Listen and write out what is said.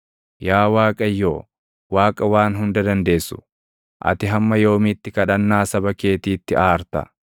Yaa Waaqayyo, Waaqa Waan Hunda Dandeessu, ati hamma yoomiitti kadhannaa saba keetiitti aarta?